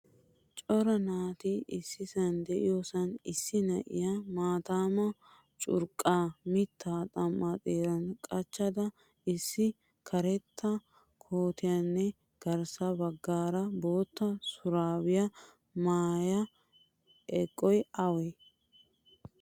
Cora naati issisan deiyosan issi na'iya maataama curqqa mitta xam'aa xeeran qachchada issi karetta kootiyanne garssa baggaara bootta shurabiya mayda eqqosay awe?